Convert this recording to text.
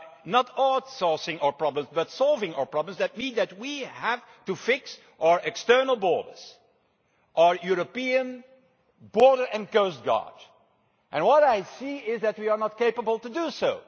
Not outsourcing our problems, but solving our problems means that we have to fix our external borders, our European border and coastguard. What I see is that we are not capable of doing